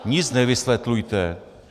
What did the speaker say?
Nic nevysvětlujte.